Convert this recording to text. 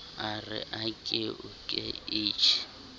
a re ake uke ichi